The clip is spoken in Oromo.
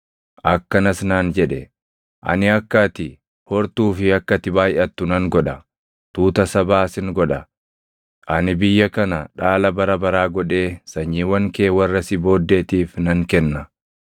akkanas naan jedhe; ‘Ani akka ati hortuu fi akka ati baayʼattu nan godha. Tuuta sabaa sin godha; ani biyya kana dhaala bara baraa godhee sanyiiwwan kee warra si booddeetiif nan kenna.’